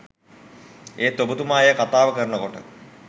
ඒත්ඔබතුමා එය කතාව කරන කොට